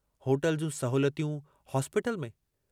Hotel जूं सहोलियतूं hospital में।